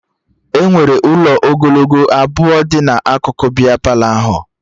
Enwere ụlọ ogologo abụọ dị n'akụkụ bịa Palọ ahụ